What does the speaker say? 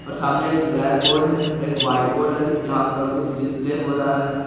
और सामने एक ब्लैक बोर्ड है और एक व्हाइट बोर्ड है जहां पर कुछ डिस्प्ले हो रहा है।